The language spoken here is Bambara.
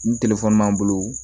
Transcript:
Ni b'an bolo